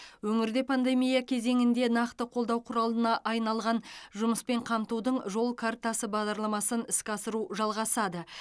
өңірде пандемия кезеңінде нақты қолдау құралына айналған жұмыспен қамтудың жол картасы бағдарламасын іске асыру жалғасады